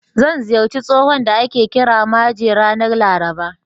Zan ziyarci tsohon da ake kira Maje, ranar Laraba.